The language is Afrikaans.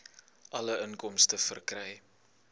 alle inkomste verkry